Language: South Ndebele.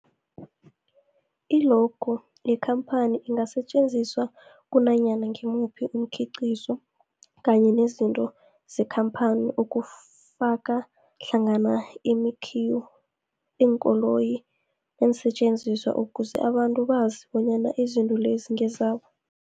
I-logo yekhamphani ingasetjenziswa kunanyana ngimuphi umkhiqizo kanye nezinto zekhamphani okufaka hlangana imakhiwo, iinkoloyi neensentjenziswa ukuze abantu bazi bonyana izinto lezo ngezabo.